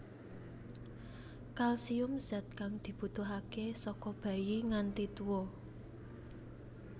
Kalsium zat kang dibutuhaké saka bayi nganti tuwa